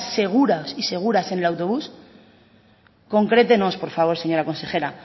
seguros y seguras en el autobús concrétenos por favor señora consejera